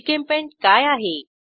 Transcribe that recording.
GChemPaint काय आहे